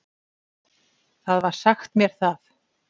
Það var sagt mér það.